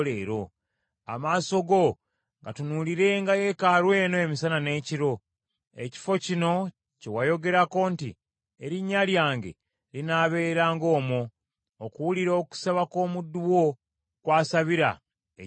Amaaso go gatunuulirenga yeekaalu eno emisana n’ekiro, ekifo kino kye wayogerako nti, ‘Erinnya lyange linaabeeranga omwo,’ okuwulira okusaba kw’omuddu wo kw’asabira ekifo kino.